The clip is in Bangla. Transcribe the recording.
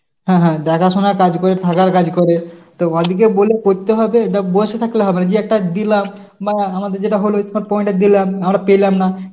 হ্যাঁ হ্যাঁ দেখাশোনার কাজ করে, থাকার কাজ করে. তো ভাবছি যে বলে করতে হবে, দেখ বসে থাকলে হবে না দিয়ে একটা দিলাম বা আমাদের যেটা হলো smart point এ দিলাম আমরা পেলাম না